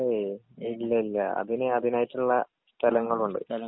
ഏയ് ഇല്ലില്ലാ അതിന് അതിനായിട്ടുള്ള സ്ഥലങ്ങളുണ്ട്.